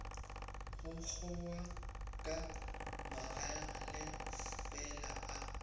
go kgowa ka magalefela a